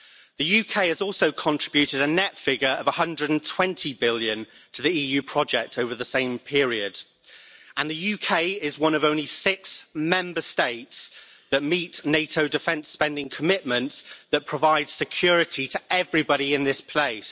The UK has also contributed a net figure of 120 billion to the EU project over the same period, and the UK is one of only six Member States that meet NATO defence spending commitments that provide security to everybody in this place.